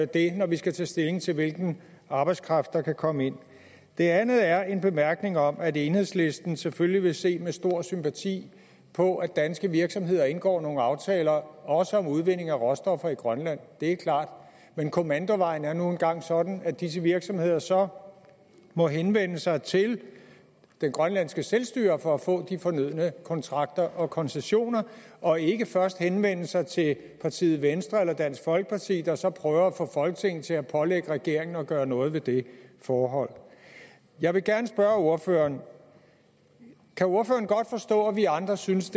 det når vi skal tage stilling til hvilken arbejdskraft der kan komme ind det andet er en bemærkning om at enhedslisten selvfølgelig vil se med stor sympati på at danske virksomheder indgår nogle aftaler også om udvinding af råstoffer i grønland det er klart men kommandovejen er nu engang sådan at disse virksomheder så må henvende sig til det grønlandske selvstyre for at få de fornødne kontrakter og koncessioner og ikke først henvende sig til partiet venstre eller dansk folkeparti der så prøver at få folketinget til at pålægge regeringen at gøre noget ved det forhold jeg vil gerne spørge ordføreren kan ordføreren godt forstå at vi andre synes